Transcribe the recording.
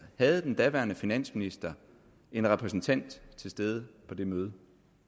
havde den daværende finansminister en repræsentant til stede på det møde